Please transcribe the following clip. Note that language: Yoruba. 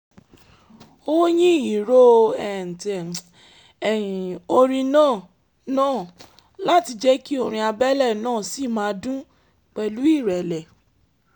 ó yín ìró orin náà náà láti jẹ́ kí orin abẹ́lẹ̀ náà ṣì máa dún pẹ̀lú ìrẹ̀lẹ̀